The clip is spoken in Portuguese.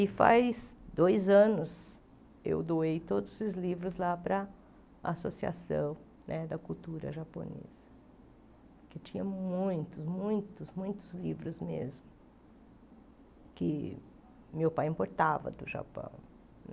E faz dois anos eu doei todos os livros lá para a Associação né da Cultura Japonesa, que tinha muitos, muitos, muitos livros mesmo, que meu pai importava do Japão.